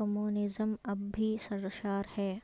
communism اب بھی سرشار ہے